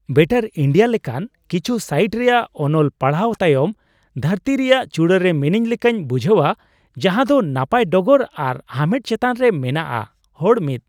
"Better India" ᱞᱮᱠᱟᱱ ᱠᱤᱪᱷᱩ site ᱨᱮᱭᱟᱜ ᱚᱱᱚᱞ ᱯᱟᱲᱦᱟᱣ ᱛᱟᱭᱚᱢ ᱫᱷᱟᱹᱨᱛᱤ ᱨᱮᱭᱟᱜ ᱪᱩᱲᱟ ᱨᱮ ᱢᱤᱱᱟᱹᱧ ᱞᱮᱠᱟᱧ ᱵᱩᱡᱷᱟᱹᱣᱟ ᱡᱟᱦᱟᱸ ᱫᱚ ᱱᱟᱯᱟᱭ ᱰᱚᱜᱚᱨ ᱟᱨ ᱦᱟᱢᱮᱴ ᱪᱮᱛᱟᱱ ᱨᱮ ᱢᱮᱱᱟᱜᱼᱟ ᱾ (ᱦᱚᱲ ᱑)